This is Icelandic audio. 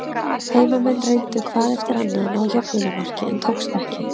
Heimamenn reyndu hvað eftir annað að ná jöfnunarmarki, en tókst ekki.